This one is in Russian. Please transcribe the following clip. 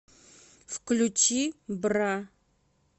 включи бра